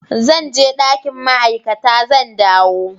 Zan je dakin ma'aikata, zan dawo.